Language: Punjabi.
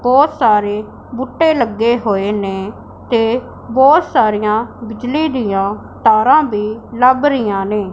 ਬਹੁਤ ਸਾਰੇ ਬੂਟੇ ਲੱਗੇ ਹੋਏ ਨੇਂ ਤੇ ਬਹੁਤ ਸਾਰੀਆਂ ਬਿਜਲੀ ਦਿਆਂ ਤਾਰਾਂ ਵੀ ਲੱਭ ਰਹੀਆਂ ਨੇਂ।